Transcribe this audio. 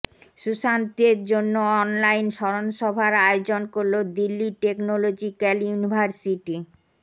সুশান্তের জন্য অনলাইন স্মরণসভার আয়োজন করল দিল্লি টেকনোলজিক্যাল ইউনিভার্সিটি